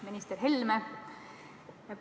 Minister Helme!